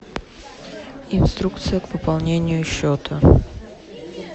инструкция к пополнению счета